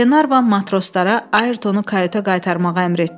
Qlenarvan matroslara Ayrtonu kayuta qaytarmağa əmr etdi.